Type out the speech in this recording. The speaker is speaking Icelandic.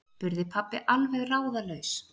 spurði pabbi alveg ráðalaus.